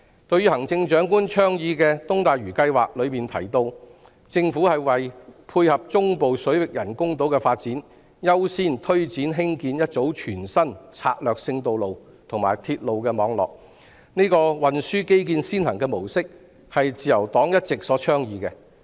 對於行政長官倡議的東大嶼計劃中提到，政府會為配合中部水域人工島的發展，優先推展興建一組全新策略性道路和鐵路網絡，這個運輸基建先行模式，是自由黨一直所倡議的。